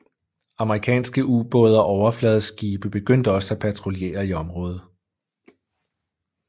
Amerikanske ubåde og overfladeskibe begyndte også at patruljere i området